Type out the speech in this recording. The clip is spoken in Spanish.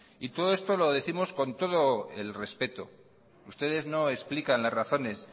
todo esto lo décimos con todo el respeto ustedes no explican las razones